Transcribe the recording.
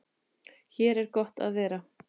Hér er gott að vera.